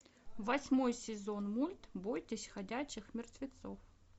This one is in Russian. восьмой сезон мульт бойтесь ходячих мертвецов